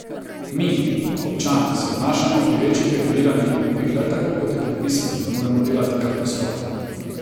Mi, občani, se obnašamo pri večjih reguliranih nakupih le tako, kot je predpisano, ne moremo delati kar po svoje...